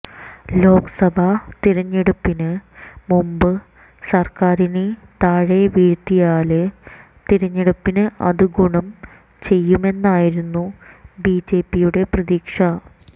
ലോക്സഭാ തിരഞ്ഞെടുപ്പിന് മുമ്പ് സാര്ക്കാറിനെ താഴെ വീഴ്ത്തിയാല് തിരഞ്ഞെടുപ്പില് അത് ഗുണം ചെയ്യുമെന്നായിരുന്നു ബി ജെ പിയുടെ പ്രതീക്ഷ